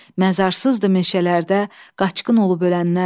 Məzarsızdır meşələrdə qaçqın olub ölənlər.